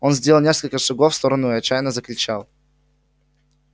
он сделал несколько шагов в сторону и отчаянно закричал